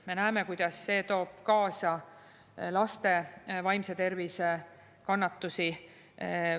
Me näeme, kuidas see toob kaasa laste vaimse tervise kannatusi.